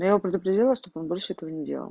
но я его предупредила чтобы он больше этого не делал